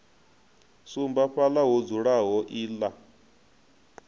sumba fhaḽa ho dzulaho iḽla